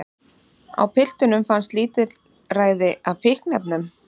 Á piltunum fannst lítilræði af fíkniefnum